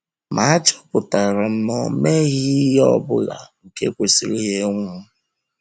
Ma achọpụtara m na o meghị meghị ihe ọ bụla nke kwesịrị ya ịnwụ.